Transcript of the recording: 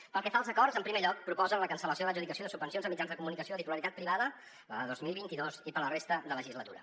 pel que fa als acords en primer lloc proposen la cancel·lació de l’adjudicació de subvencions a mitjans de comunicació de titularitat privada la de dos mil vint dos i per a la resta de legislatura